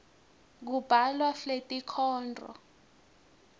kubhalwa fletinkhondro